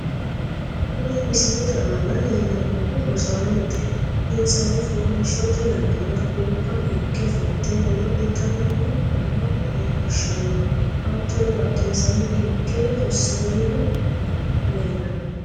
kuni misilete aana leellannohu rosaanote. insano foliishshote yannara gobba higge fulte god'litanni noore leellishshanno, hattono badhensaanni hige ronsannihu minu leellanno.